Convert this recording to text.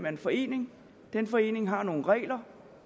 af en forening den forening har nogle regler